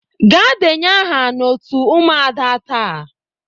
Gaa denye aha n'otu ụmụada taa!